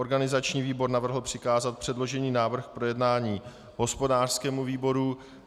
Organizační výbor navrhl přikázat předložený návrh k projednání hospodářskému výboru.